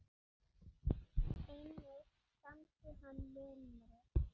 Einnig samdi hann limru